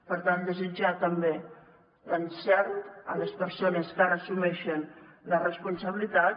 per tant desitjar també l’encert a les persones que ara assumeixen la responsabilitat